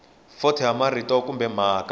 fonto ya marito kumbe mhaka